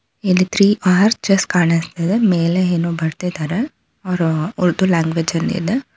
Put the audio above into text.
ಇಲ್ಲಿ three arches ಕಾಣಿಸ್ತಿದೆ ಮೇಲೆ ಏನೋ ಬರ್ದಿದ್ದಾರೆ ಅವರ ಉರ್ದು ಲಾಂಗ್ವೇಜ್ ಅಲ್ಲಿ ಇದೆ.